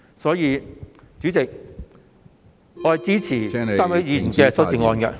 所以，主席，我支持3位議員提出的修訂議案......